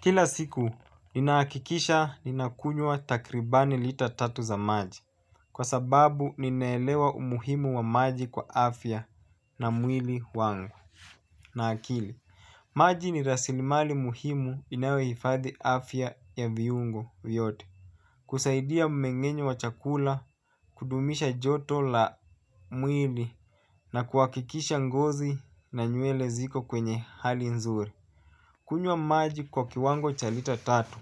Kila siku, ninahakikisha ninakunywa takribani lita tatu za maji. Kwa sababu, ninaelewa umuhimu wa maji kwa afya na mwili wangu. Na akili. Maji ni rasilimali muhimu inayohifadhi afya ya viungo vyote. Kusaidia mmengenyo wa chakula, kudumisha joto la mwili na kuhakikisha ngozi na nywele ziko kwenye hali nzuri. Kunywa maji kwa kiwango cha lita tatu.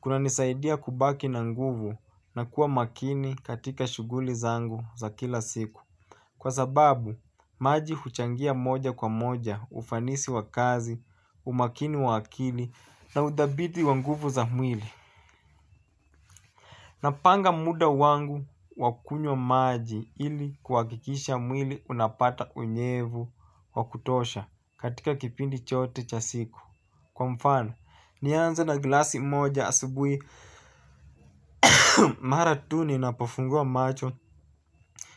Kuna nisaidia kubaki na nguvu na kuwa makini katika shuguli zangu za kila siku. Kwa sababu, maji huchangia moja kwa moja ufanisi wa kazi, umakini wa akili na udhabidi wa nguvu za mwili. Napanga muda wangu wakunywa maji ili kwa kuhakikisha mwili unapata unyevu wa kutosha katika kipindi chote cha siku. Kwa mfano, nianze na glasi moja asibuhi mara tu ninapofungua macho.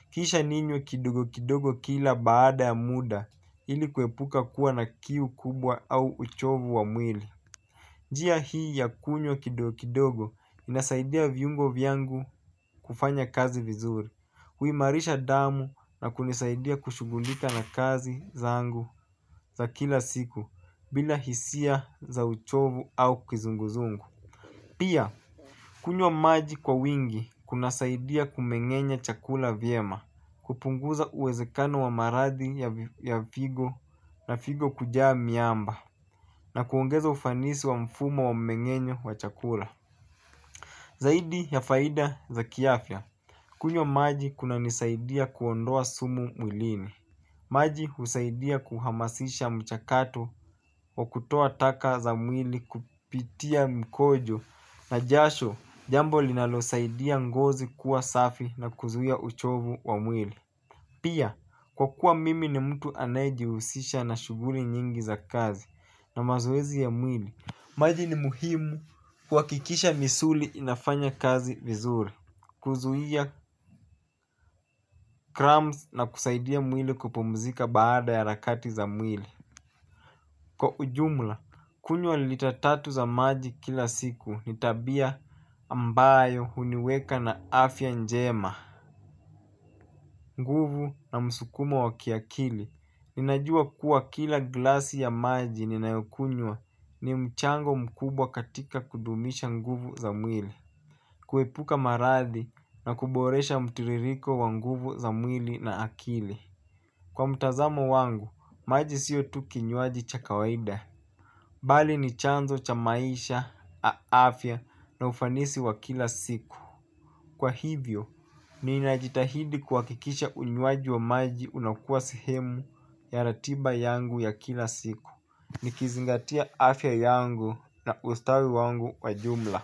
Kisha ninywe kidogo kidogo kila baada ya muda ili kuepuka kuwa na kiu kubwa au uchovu wa mwili. Njia hii ya kukunywa kidogo inasaidia viungo vyangu kufanya kazi vizuri. Huimarisha damu na kunisaidia kushughulika na kazi zangu za kila siku bila hisia za uchovu au kizunguzungu. Pia, kunywa maji kwa wingi kuna saidia kumengenya chakula vyema, kupunguza uwezekano wa maradhi ya figo na figo kujaa miamba na kuongeza ufanisi wa mfumo wa mengenyo wa chakula. Zaidi ya faida za kiafya kunywa maji kuna nisaidia kuondoa sumu mwilini. Maji husaidia kuhamasisha mchakato wa kutoa taka za mwili kupitia mkojo na jasho jambo linalo saidia ngozi kuwa safi na kuzuia uchovu wa mwili. Pia, kwa kuwa mimi ni mtu anayejihusisha na shughuli nyingi za kazi na mazoezi ya mwili. Maji ni muhimu kwa kuhakikisha misuli inafanya kazi vizuri. Kuzuhia crumbs na kusaidia mwili kupumzika baada ya rakati za mwili kwa ujumla, kunywa lita tatu za maji kila siku ni tabia ambayo huniweka na afya njema nguvu na msukumo wa kiakili. Ninajua kuwa kila glasi ya maji ninayokunywa ni mchango mkubwa katika kudumisha nguvu za mwili. Kuhepuka maradhi na kuboresha mtiririko wa nguvu za mwili na akili kwa mtazamo wangu, maji sio tu kinywaji cha kawaida. Bali ni chanzo cha maisha afya na ufanisi wa kila siku. Kwa hivyo, ninajitahidi kuhakikisha unywaji wa maji unakuwa sehemu ya ratiba yangu ya kila siku. Nikizingatia afya yangu na ustawi wangu wa jumla.